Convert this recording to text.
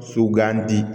So gan di